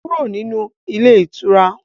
Kúrò nínú ilé ìtura!